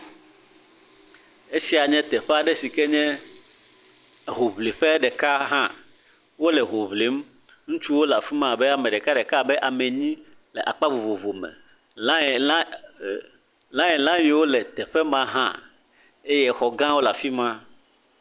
Esia n ye teƒe aɖe si ke nye hoŋliƒe ɖeka hã. Wole hoŋlim. Ŋutsu le afi ma abe ame ɖekaɖeka abe ame enyi le akpa vovovome. Lãeŋla, lãeŋla yiwo le teƒe mahã eye xɔgãwo le afi ma.